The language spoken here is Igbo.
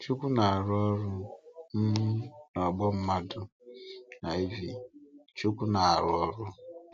Chíukwu na-arụ ọrụ um n’ọgbọ́ mmadụ. IV. Chíukwu nọ n’ọrụ.